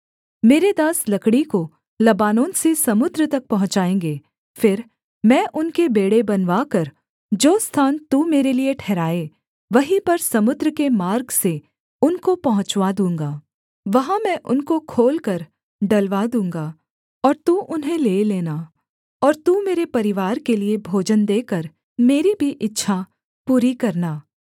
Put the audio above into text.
मेरे दास लकड़ी को लबानोन से समुद्र तक पहुँचाएँगे फिर मैं उनके बेंड़े बनवाकर जो स्थान तू मेरे लिये ठहराए वहीं पर समुद्र के मार्ग से उनको पहुँचवा दूँगा वहाँ मैं उनको खोलकर डलवा दूँगा और तू उन्हें ले लेना और तू मेरे परिवार के लिये भोजन देकर मेरी भी इच्छा पूरी करना